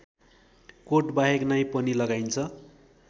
कोटबाहेक नै पनि लगाइन्छ